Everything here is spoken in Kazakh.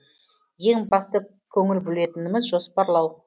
ең басты көңіл бөлетініміз жоспарлау